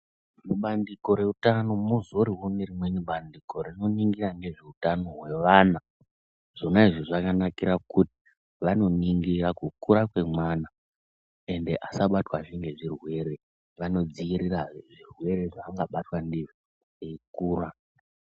Mubandiko reutano muzorine rimweni bandiko rinoningira nezveutano hwevana. Zvonazvo zvakanakira kuti vanongingira kukura kwevana ende asabatwazve ngezvirwere anodzirirazve zvirwere zvangabatwa ndizvo eikura.